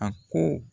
A ko